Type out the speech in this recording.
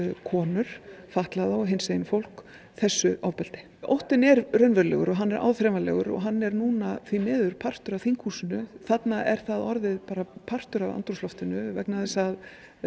konur fatlað og hinsegin fólk þessu ofbeldi óttinn er raunverulegur og hann er áþreifanlegur og hann er núna því miður partur af þinghúsinu þarna er það orðið bara partur af andrúmsloftinu vegna þess að